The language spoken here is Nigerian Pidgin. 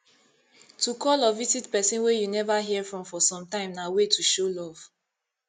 to call or visit persin wey you never hear from for sometime na way to show love